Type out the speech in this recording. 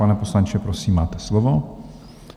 Pane poslanče, prosím, máte slovo.